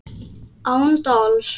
Án dals.